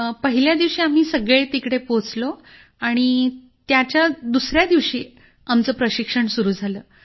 पहिल्या दिवशी आम्ही सगळे तिकडे पोहोचलो नि त्याच्या दुसऱ्या दिवशी आमचं प्रशिक्षण सुरू झालं